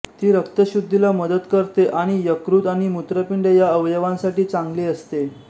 ती रक्तशुद्धीला मदत करते आणि यकृत आणि मूत्रपिंड या अवयवांसाठी चांगली असते